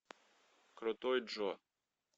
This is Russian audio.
крутой джо